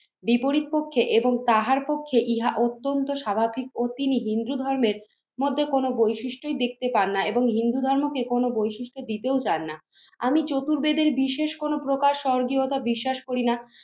বিপরীত পক্ষে এবং তাহার পক্ষে ইহা অত্যন্ত স্বাভাবিক ও তিনি হিন্দু ধর্মের মধ্যে কোনো বৈশিষ্ট্যই দেখতে পান না এবং হিন্দু ধর্মকে কোনো বৈশিষ্ট্য দিতেও চান না। আমি চতুর্বেদের বিশেষ কোনো প্রকার স্বর্গীয়তা বিশ্বাস করিনা।